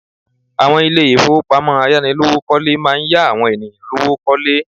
Àwọn Ilé ìfowópamọ́ ayánilówó kọ́lé máa ń yá àwọn ènìyàn lówó kọ́lé